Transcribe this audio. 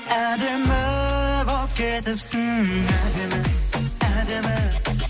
әдемі болып кетіпсің әдемі әдемі